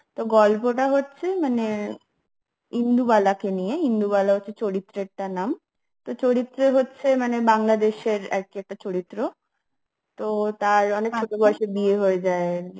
তো গল্পটা হচ্ছে মানে ইন্দুবালাকে নিয়ে ইন্দু বলা হচ্ছে চরিত্রের নাম চরিত্রে হচ্ছে মানে বাংলাদেশের আর কি একটা চরিত্র তো তার ছোট বয়সে বিয়ে হয়ে যায়